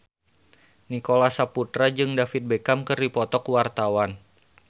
Nicholas Saputra jeung David Beckham keur dipoto ku wartawan